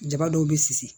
Jaba dɔw be sisi